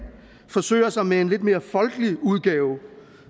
forsøger sig med en lidt mere folkelige udgave